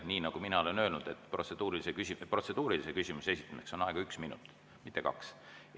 Nii nagu mina olen öelnud, protseduurilise küsimuse esitamiseks on aega üks minut, mitte kaks minutit.